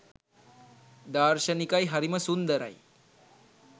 දාර්ශනිකයි හරිම සුන්දරයි